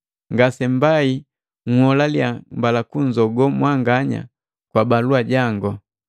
Ngasembai nholaliya mbala kunzogo mwanganya kwa balua jango.